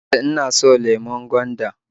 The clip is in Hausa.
E, ina so .lemon gwanda